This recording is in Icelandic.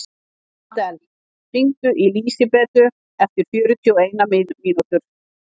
Adel, hringdu í Lísibetu eftir fjörutíu og eina mínútur.